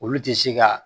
Olu tɛ se ka